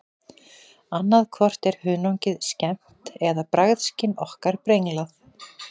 Annað hvort er hunangið skemmt eða bragðskyn okkar brenglað.